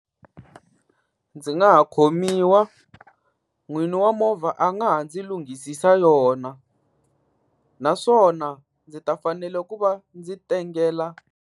Ndzi nga ha khomiwa, n'wini wa movha a nga ha ndzi lunghisisa yona. Naswona ndzi ta fanele ku va ndzi tengela.